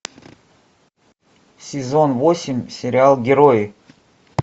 сезон восемь сериал герои